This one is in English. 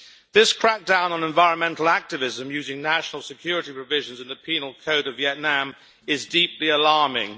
This crackdown on environmental activism using national security provisions in the Penal Code of Vietnam is deeply alarming.